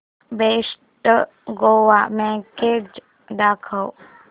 best Goa package दाखव